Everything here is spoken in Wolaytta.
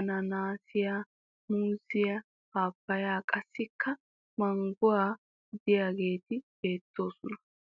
ananaasiya, muuziya, papaya qassikka mangoy diyageeti beettoosona.